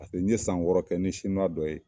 N ye san wɔɔrɔ kɛ ni dɔ ye